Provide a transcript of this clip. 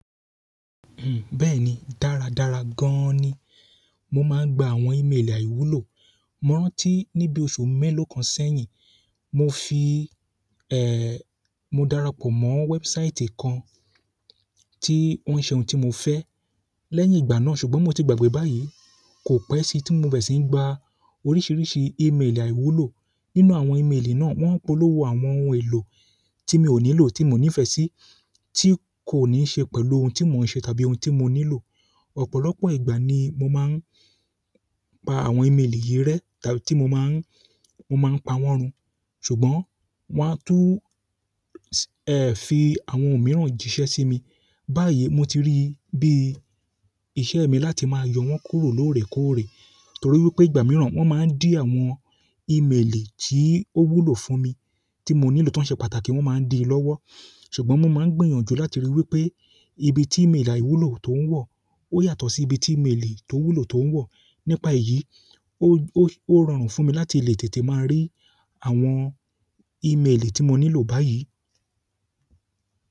Bẹ́ẹ̀ni dára dára gan ni mo máa ń gba àwọn e-mail àiwúlò mo rántí nibi oṣù melo kan sẹ́yìn, mo fi, mo darapọ̀ mo website kan ti won se ohun ti mo fe lẹ́yìn ìgbà náà, ṣùgbọ́n mo ti gbàgbé báyìí, kò pẹ́ síi tí mo bere ṣì ń gba oríṣiríṣi e-mail àiwúlò. Nínú àwọn e-mail náà, wọ́n polówó àwọn ohun èlò tí mi ò nílò tí mo nífẹ̀ẹ́ sí, tí kò ní ṣe pẹ̀lú ohun tí mo ń ṣe tàbí ohun tí mo nílò. Ọ̀pọ̀lọpọ̀ ìgbà ni mo máa ń pa àwọn e-mail yìí rẹ́, tàbí tí mo máa ń, mo máa ń pa wọ́n run, ṣùgbọ́n wọ́n á tún, ẹ, fi àwọn ohun mìíràn jìṣẹ́ sí mi. Báyìí mo ti rí bí iṣẹ́ mi láti máa yọ wọ́n kúrò lóòrẹ́ kóòrẹ́, torí wipé ìgbà mìíràn wọ́n máa ń dí àwọn e-mail tí ó wulù fún mi, tí mo nílò, tó ń ṣe pàtàkì, wọ́n máa ń di í lọ́wọ́. Ṣùgbọ́n mo máa ń gbìyànjù láti rí wí pé ibi tí e-mail àiwúlò tó ń wọ̀, ó yàtọ̀ sí ibi tí e-mail tó wulù tó ń wọ̀. Nípa èyí, ó, ó, ó rọrùn fún mi láti lè tètè máa rí àwọn e-mail tí mo nílò báyìí.